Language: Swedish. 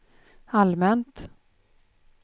allmänt